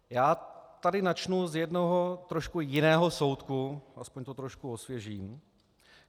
Já tady načnu z jednoho trošku jiného soudku, aspoň to trošku osvěžím.